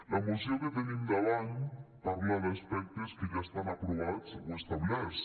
la moció que tenim davant parla d’aspectes que ja estan aprovats o establerts